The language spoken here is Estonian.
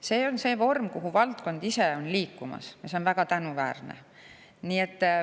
See on see vorm, mille poole valdkond ise on liikumas, ja see on väga tänuväärne.